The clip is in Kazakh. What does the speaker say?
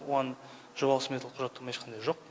оған жобалық сметалық құжаттама ешқандай жоқ